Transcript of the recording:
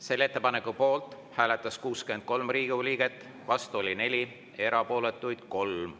Selle ettepaneku poolt hääletas 63 Riigikogu liiget, vastu 4, erapooletuid oli 3.